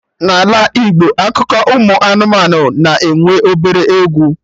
Na Ala Igbo akụkọ ụmụ anụmanụ na-enwe obere egwu